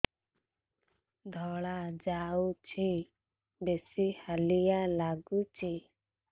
ଧଳା ଯାଉଛି ବେଶି ହାଲିଆ ଲାଗୁଚି